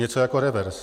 Něco jako revers.